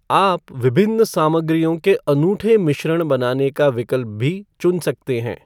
आप विभिन्न सामग्रियों के अनूठे मिश्रण बनाने का विकल्प भी चुन सकते हैं।